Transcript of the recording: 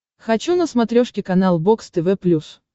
хочу на смотрешке канал бокс тв плюс